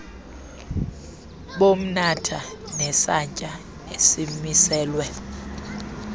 bomnatha nesantya esimiselwe